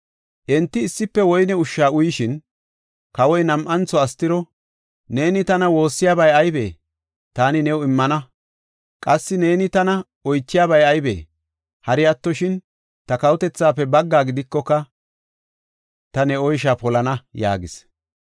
Enti issife woyne ushsha uyishin, kawoy nam7antho Astiro, “Neeni tana woossiyabay aybee? Taani new immana. Qassi neeni tana oychiyabay aybee? Hari attoshin ta kawotethaafe baggaa gidikoka, ta ne oysha polana” yaagis.